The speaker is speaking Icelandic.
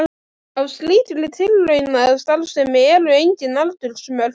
Á slíkri tilraunastarfsemi eru engin aldursmörk.